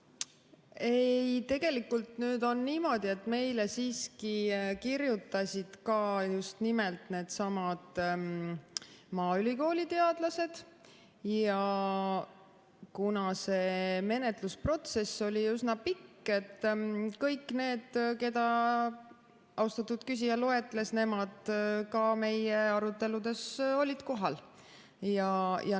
Ei, tegelikult on niimoodi, et meile siiski kirjutasid ka needsamad maaülikooli teadlased, ja kuna see menetlusprotsess oli üsna pikk, siis kõik need, keda austatud küsija loetles, olid ka meie aruteludel kohal.